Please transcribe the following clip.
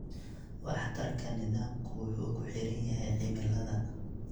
Waxtarka nidaamku wuxuu ku xiran yahay cimilada.